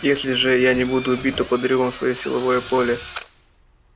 если же я не буду убит то подарю вам своё силовое поле